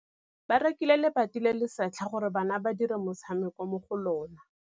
Ba rekile lebati le le setlha gore bana ba dire motshameko mo go lona.